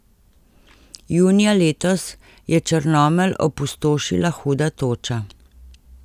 Junija letos je Črnomelj opustošila huda toča.